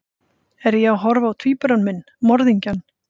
Er ég að horfa á tvíbura minn, morðingjann?